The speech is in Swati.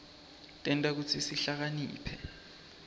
tenta kutsi sihlakaniphe